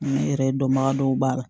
N yɛrɛ dɔnbaga dɔw b'a la